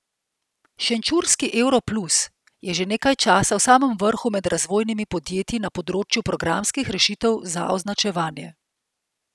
Šenčurski Euro Plus je že nekaj časa v samem vrhu med razvojnimi podjetji na področju programskih rešitev za označevanje.